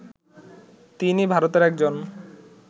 তিনি ভারতের একজন